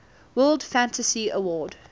world fantasy award